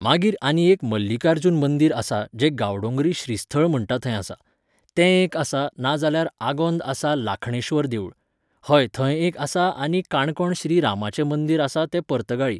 मागीर आनी एक मल्लीकार्जून मंदीर आसा, जें गांवडोंगरी श्रीस्थळ म्हणटा थंय आसा. तें एक आसा, नाजाल्यार आगोंद आसा लाखणेश्वर देवूळ. हय थंय एक आसा आनी काणकोण श्री रामाचें मंदीर आसा तें पर्तगाळी.